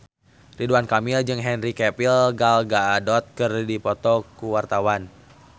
Ridwan Kamil jeung Henry Cavill Gal Gadot keur dipoto ku wartawan